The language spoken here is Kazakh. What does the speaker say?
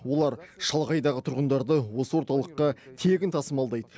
олар шалғайдағы тұрғындарды осы орталыққа тегін тасымалдайды